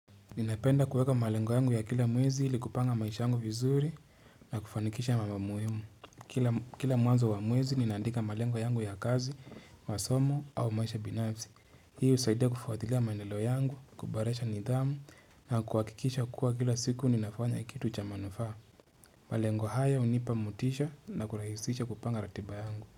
Ninapenda kuweka malengo yangu ya kila mwezi ili kupanga maisha yangu vizuri na kufanikisha mama muhimu. Kila Kila mwanzo wa mwezi mimi ninaandika malengo yangu ya kazi, masomo au maisha ya binafsi Hii husaidia kufuatilia maendaleo yangu, kuboresha nidhamu na kuhakikisha kuwa kila siku ninafanya kitu cha manufaa. Malengo haya hunipa motisha na kurahisisha kupanga ratiba yangu.